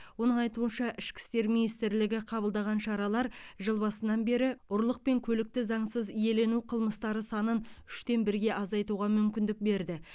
оның айтуынша ішкі істер министрлігі қабылдаған шаралар жыл басынан бері ұрлық пен көлікті заңсыз иелену қылмыстары санын үштен бірге азайтуға мүмкіндік берді